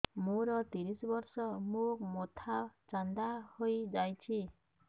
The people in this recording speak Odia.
ମୋ ତିରିଶ ବର୍ଷ ମୋ ମୋଥା ଚାନ୍ଦା ହଇଯାଇଛି